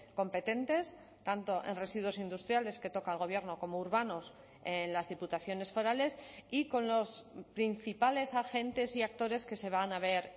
competentes tanto en residuos industriales que toca el gobierno como urbanos en las diputaciones forales y con los principales agentes y actores que se van a ver